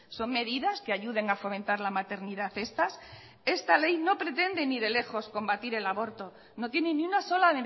son medidas que ayuden a fomentar la maternidad estas esta ley no pretende ni de lejos combatir el aborto no tiene ni una sola